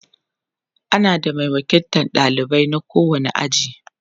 ana da Mai wakiltan ɗalibai na kowani aji